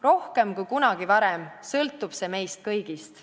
Rohkem kui kunagi varem sõltub see meist kõigist.